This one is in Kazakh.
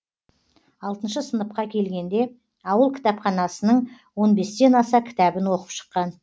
алтыншы сыныпқа келгенде ауыл кітапханасының он бестен аса кітабін оқып шыққан